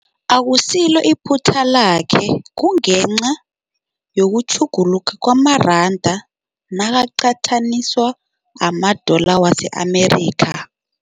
Akusilo iphuthu lakhe kungenca yokutjhuguluka kwamaranda nakaqathaniswa nama-dollar wase-America.